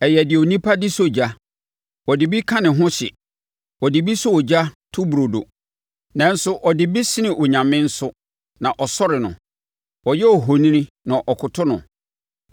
Ɛyɛ deɛ onipa de sɔ ogya; ɔde ebi ka ne ho hye, ɔde bi sɔ ogya to burodo. Nanso ɔde ebi sene onyame nso na ɔsɔre no; ɔyɛ ohoni na ɔkoto no.